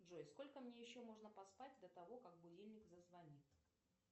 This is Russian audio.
джой сколько мне еще можно поспать до того как будильник зазвонит